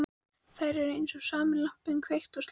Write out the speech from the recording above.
Þær eru eins og sami lampinn, kveikt og slökkt.